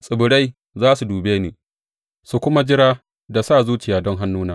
Tsibirai za su dube ni su kuma jira da sa zuciya don hannuna.